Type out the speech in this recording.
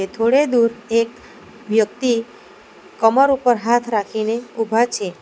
થોડે દૂર એક વ્યક્તિ કમર ઉપર હાથ રાખીને ઉભા છે.